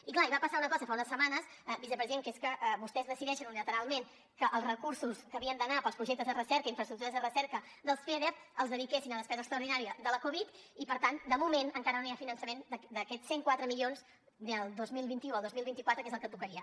i clar i va passar una cosa fa unes setmanes vicepresident que és que vostès decideixen unilateralment que els recursos que havien d’anar per als projectes de recerca i infraestructures de recerca dels feder els dediquessin a despesa extraordinària de la covid i per tant de moment encara no hi ha finançament d’aquests cent i quatre milions del dos mil vint u al dos mil vint quatre que és el que tocaria